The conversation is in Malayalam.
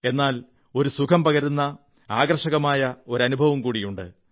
എന്നാൽ ഒരു സുഖം പകരുന്ന ആകർഷകമായ അനഭുവവും കൂടിയാണ്